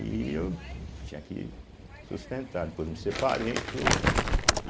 E eu tinha que sustentar, depois me separei e tudo, né.